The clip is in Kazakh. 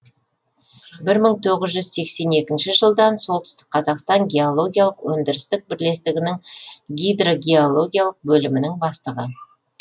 бір мың тоғыз жүз сексен екінші жылдан солтүстік қазақстан геологиялық өндірістік бірлестігінің гидрогеологиялық бөлімінің бастығы